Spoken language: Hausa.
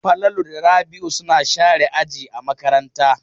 Falalu da Rabi'u suna share aji a makaranta.